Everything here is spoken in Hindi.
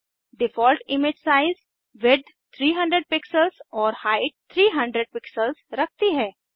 default image size width 300 pixels और हाइट 300 पिक्सेल्स रखती है